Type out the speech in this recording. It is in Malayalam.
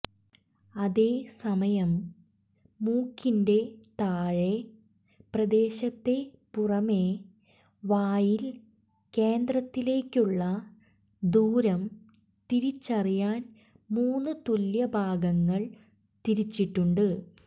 അതേ സമയം മൂക്കിന്റെ താഴെ പ്രദേശത്തെ പുറമേ വായിൽ കേന്ദ്രത്തിലേക്കുള്ള ദൂരം തിരിച്ചറിയാൻ മൂന്ന് തുല്യ ഭാഗങ്ങൾ തിരിച്ചിട്ടുണ്ട്